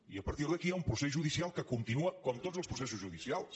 i a par·tir d’aquí hi ha un procés judicial que continua com tots els processos judicials